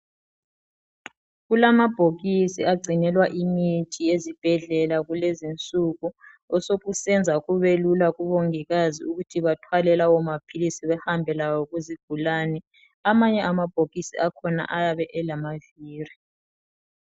Kulamabhokisi agcinelwa imithi ezibhedlela kulezinsuku, osokusenza kubelula kubongikazi ukuthi bathwale lawo maphilisi behambe lawo kuzigulane. Amanye amabhokisi akhona ayabe elamaviri.